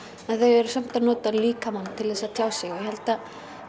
en þau eru samt að nota líkamann til þess að tjá sig ég held að